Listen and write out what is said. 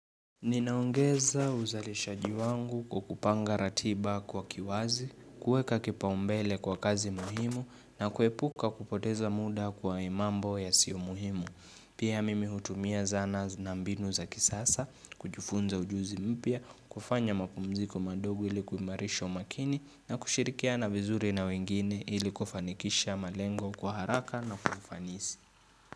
Ninaongeza uzalisha jiwangu kwakupanga ratiba kwa kiwazi, kuweka kipaumbele kwa kazi muhimu na kuepuka kupoteza muda kwa imambo ya sio muhimu. Pia mimi hutumia zana na mbinu za kisasa, kujifunza ujuzi mpya, kufanya mapumziko madogo ilikuimarisha umakini na kushirikia na vizuri na wengine ilikufanikisha malengo kwa haraka na kwa ufanisi.